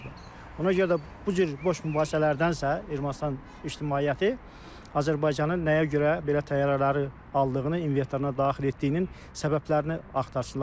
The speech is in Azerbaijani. Ona görə də bu cür boş mübahisələrdənsə Ermənistan ictimaiyyəti Azərbaycanın nəyə görə belə təyyarələri aldığını, inventoruna daxil etdiyinin səbəblərini axtarsınlar.